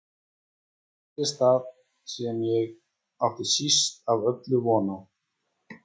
Þá gerðist það sem ég átti síst af öllu von á.